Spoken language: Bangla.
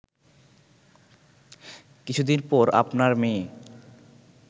কিছুদিন পর আপনার মেয়ে